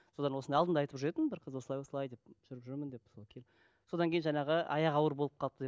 содан осыдан алдында айтып жүретін бір қыз осылай осылай деп жүріп жүрмін деп сол кел содан кейін жаңағы аяғы ауыр болып қалыпты деп